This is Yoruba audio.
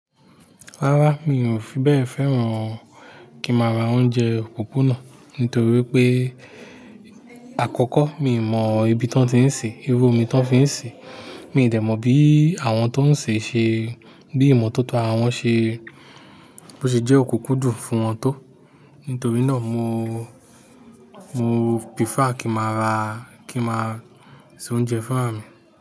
Rárá, mi ò fi bẹ́ẹ̀ fẹ́ràn kí má ra oúnjẹ òpópónà nítorí pé àkọ́kọ́ mi ò mọ ibi tí wọ́n ti ń sè é, irú omi tí wọ́n fi ń sè é. Mi ò dẹ̀ mọ̀ bí àwọn tó ń sè ṣe, bí ìmọ̀tótó àra wọn ṣe, bó ṣe jẹ́ òkúnkún dùn fún wọn tó. Nítorí náà mo, mo prefer kí ma ra, kí ma se oúnjẹ fúnra mi.